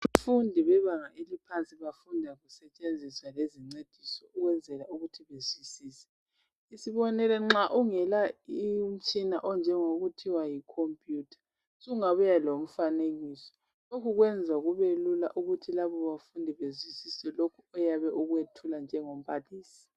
Abafundi bebanga eliphansi bafunda kusetshenziswa lezincediso ukwenzela ukuthi bazwisise. Isibonelo, nxa ungela umtshina onjengokuthiwa yikhompuyutha, sungabuya lomfanekiso. Lokhu kwenza kubelula ukuthi labo bafundi bezwisise lokhu oyabe ukwethula njengo mbalisi.